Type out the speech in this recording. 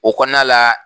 O kɔnɔna la